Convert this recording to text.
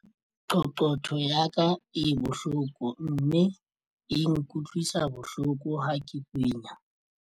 Qoqotho ya ka e bohloko mme e nkutlwisa bohloko ha ke kwenya.